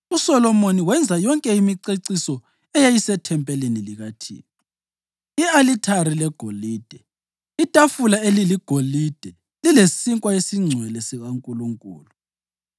USolomoni wenza yonke imiceciso eyayisethempelini likaThixo: i-alithari legolide; itafula eliligolide lilesinkwa esiNgcwele sikaNkulunkulu;